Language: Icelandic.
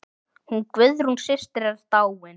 Hún Guðrún systir er dáin.